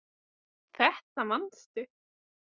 Þetta manstu.